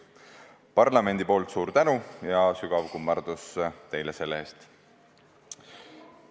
Parlamendi nimel suur tänu ja sügav kummardus teile selle eest!